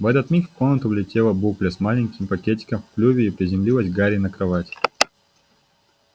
в этот миг в комнату влетела букля с маленьким пакетиком в клюве и приземлилась к гарри на кровать